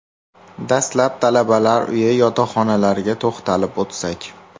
Dastlab, talabalar uyi yotoqxonalarga to‘xtalib o‘tsak.